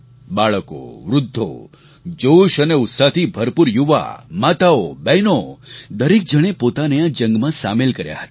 બાળકો વૃદ્ધો જોશ અને ઉત્સાહથી ભરપૂર યુવા માતાઓ બહેનો દરેક જણે પોતાને આ જંગમાં સામેલ કર્યા હતા